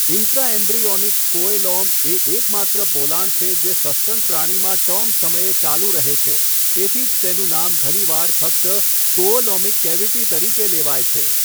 Intraembryonic coelom એ એકમાત્ર પોલાણ છે જે સસ્તન પ્રાણીમાં ટર્મ સમયે ચાલુ રહે છે, તેથી જ તેનું નામ ઘણીવાર ફક્ત કોઓલોમિક કેવિટી તરીકે લેવાય છે.